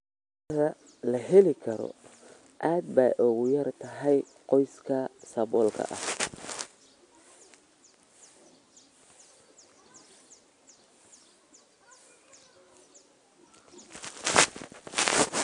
Cuntada la heli karo aad bay ugu yar tahay qoysaska saboolka ah.